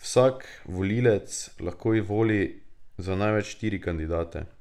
Vsak volivec lahko voli za največ štiri kandidate.